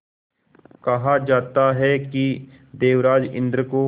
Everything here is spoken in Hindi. कहा जाता है कि देवराज इंद्र को